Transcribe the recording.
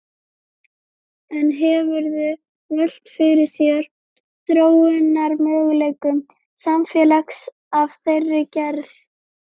En hefurðu velt fyrir þér þróunarmöguleikum samfélags af þeirri gerð?